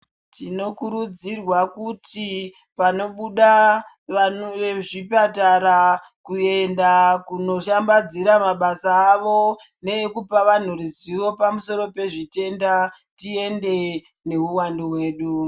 Tinokurudzirwa kuti panobuda vantu vezvipatara kuenda kunoshambadzira mabasa avo neekupa vantu ruzivo pamusoro nezvitenda tiende neuwandu hwedu.